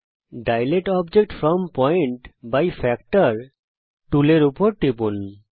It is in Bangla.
দিলাতে object from point by factor টুলের উপর টিপুন